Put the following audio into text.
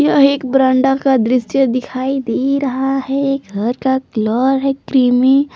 यह एक बरामदा का दृश्य दिखाई दे रहा है घर का कलर है क्रीमी ।